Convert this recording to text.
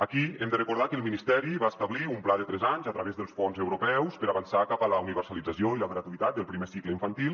aquí hem de recordar que el ministeri va establir un pla de tres anys a través dels fons europeus per avançar cap a la universalització i la gratuïtat del primer ci·cle infantil